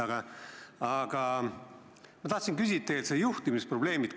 Aga tegelikult tahtsin ma küsida juhtimisprobleemi kohta.